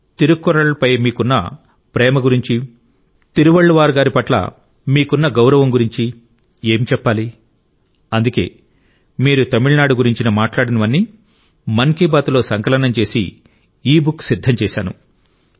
తిరుక్కురళ్ పై మీకున్న ప్రేమ గురించి తిరువళ్లువార్ గారి పట్ల మీకున్న గౌరవం గురించి ఏమి చెప్పాలి అందుకే మీరు తమిళనాడు గురించి మాట్లాడినవన్నీ మన్ కి బాత్ లో సంకలనం చేసి ఈబుక్ సిద్ధం చేశాను